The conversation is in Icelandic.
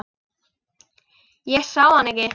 Ég sá hann ekki.